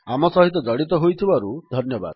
ଆମ ସହିତ ଜଡ଼ିତ ହୋଇଥିବାରୁ ଧନ୍ୟବାଦ